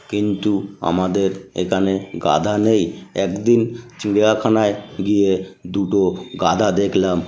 কিন্তু আমাদের এখানে গাধা নেই। একদিন চিড়িয়াখানায় গিয়ে দুটো গাধা দেখলাম।